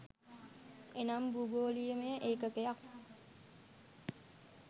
එනම් භූගෝලීයමය ඒකකයක්